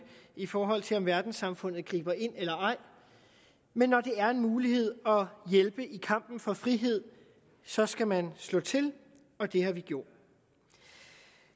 i forhold til om verdenssamfundet griber ind eller ej men når der er en mulighed at hjælpe i kampen for frihed så skal man slå til og det har vi gjort